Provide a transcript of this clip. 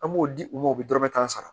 An b'o di u ma u bɛ dɔrɔmɛ tan sara